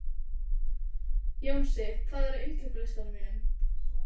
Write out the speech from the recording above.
Jónsi, hvað er á innkaupalistanum mínum?